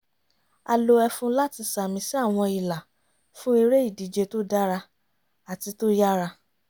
a lo ẹfun láti ṣàmì sí àwọn ìlà fún eré ìdíje tó dára àti tó yára